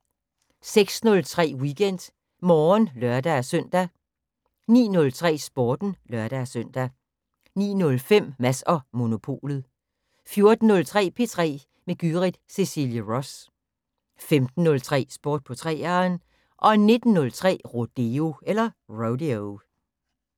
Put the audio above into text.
06:03: WeekendMorgen (lør-søn) 09:03: Sporten (lør-søn) 09:05: Mads & Monopolet 14:03: P3 med Gyrith Cecilie Ross 15:03: Sport på 3'eren 19:03: Rodeo